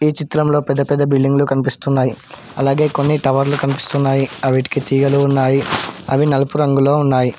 ఈ చిత్రంలో పెద్ద పెద్ద బిల్డింగులు కనిపిస్తున్నాయి అలాగే కొన్ని టవర్లు కనిపిస్తున్నాయి అవిటికీ తీగలు వున్నాయి అవి నలుపు రంగులో ఉన్నాయి.